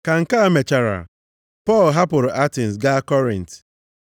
Ka nke a mechara, Pọl hapụrụ Atens gaa Kọrint.